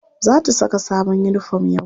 Za ta saka sabon uniform yau.